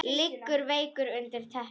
Liggur veikur undir teppi.